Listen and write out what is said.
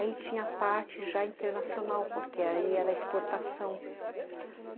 Aí tinha a parte já internacional, porque aí era exportação.